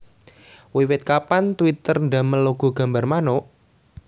Wiwit kapan Twitter ndamel logo gambar manuk?